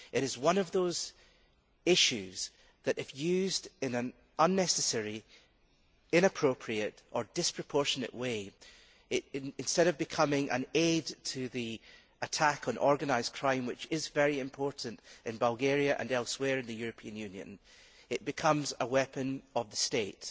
It is one of those things which, if used in an unnecessary, inappropriate or disproportionate way, instead of becoming an aid to the attack on organised crime, which is very important in Bulgaria and elsewhere in the European Union, becomes a weapon of the state.